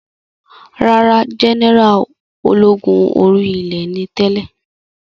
Rárá, jẹ́nẹ́rà ológun orí ilẹ̀ ni tẹ́lẹ̀